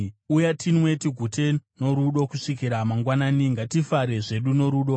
Uya, tinwe tigute norudo kusvikira mangwanani; ngatifare zvedu norudo!